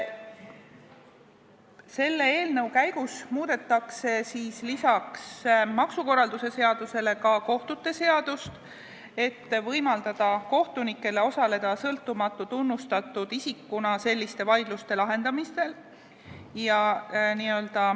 Selle eelnõu käigus muudetakse peale maksukorralduse seaduse kohtute seadust, et võimaldada kohtunikel osaleda sõltumatu tunnustatud isikuna selliste vaidluste lahendamisel.